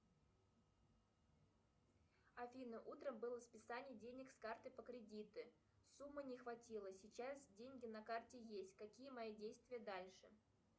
афина утром было списание денег с карты по кредиту суммы не хватило сейчас деньги на карте есть какие мои действия дальше